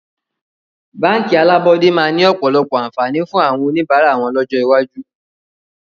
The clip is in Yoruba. Báńkì alábọ́dẹ́ máa ni ọ̀pọ̀lọpọ̀ àǹfààní fún àwọn oníbàárà wọn lọ́jọ́ iwájú